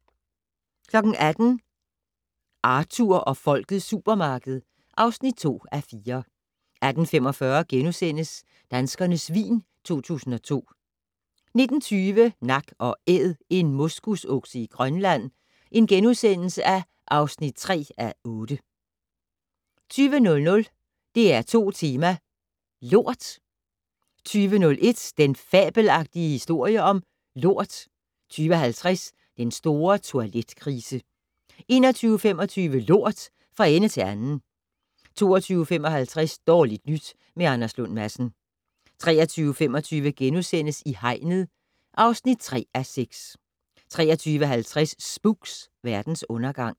18:00: Arthur og Folkets supermarked (2:4) 18:45: Danskernes vin 2002 * 19:20: Nak & Æd - en moskusokse i Grønland (3:8)* 20:00: DR2 Tema: Lort 20:01: Den fabelagtige historie om lort 20:50: Den Store Toiletkrise 21:25: Lort - fra ende til anden 22:55: Dårligt nyt med Anders Lund Madsen 23:25: I hegnet (3:6)* 23:50: Spooks: Verdens undergang